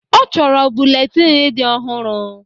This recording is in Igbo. Ọ chọrọ buletin dị ọhụrụ